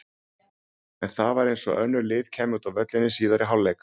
En það var eins og allt önnur lið kæmu út á völlinn í síðari hálfleik.